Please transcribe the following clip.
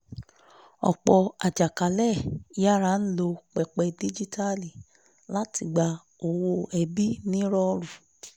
ọ̀pọ̀ àjàkálẹ̀ yára ń lo pẹpẹ díjíítàálì láti gba owó ẹbí ní rọọrú